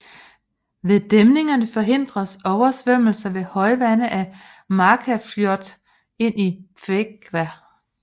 Ved dæmninger forhindres oversvømmelse ved højvande af Markarfljót ind i Þverá